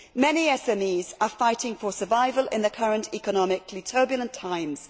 Many SMEs are fighting for survival in the current economically turbulent times.